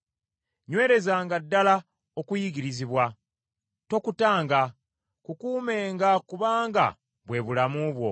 Nywerezanga ddala okuyigirizibwa, tokutanga: kukuumenga kubanga bwe bulamu bwo.